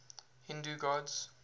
hindu gods